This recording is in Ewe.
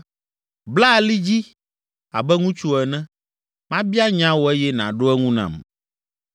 “Bla ali dzi abe ŋutsu ene, mabia nya wò eye nàɖo eŋu nam.